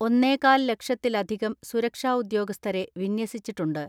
ഒന്നേകാൽ ലക്ഷത്തില ധികം സുരക്ഷാ ഉദ്യോഗസ്ഥരെ വിന്യസിച്ചിട്ടുണ്ട്.